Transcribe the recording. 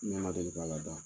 N ɲɛ ma deli k'a la da.